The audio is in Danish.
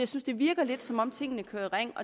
synes det virker lidt som om tingene kører i ring